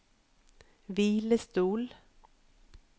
hvilestol